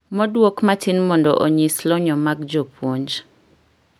Moduok matin mondo onyisi lony mag jopuonj